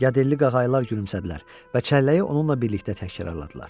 Yadelli qağaylar gülümsədilər və çəlləyi onunla birlikdə təkrarladılar.